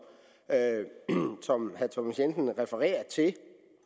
herre thomas jensen refererer til